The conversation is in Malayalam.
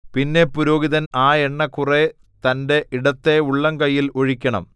പിന്നെ പുരോഹിതൻ ആ എണ്ണ കുറെ തന്റെ ഇടത്തെ ഉള്ളംകൈയിൽ ഒഴിക്കണം